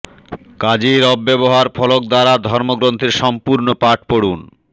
কাজের অব্যবহার ফলক দ্বারা ধর্ম গ্রন্থের সম্পূর্ণ পাঠ পড়ুন